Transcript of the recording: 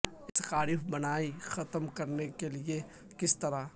ایک سکارف بنائی ختم کرنے کے لئے کس طرح